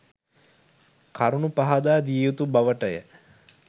කරුණු පහදා දිය යුතු බව ට ය.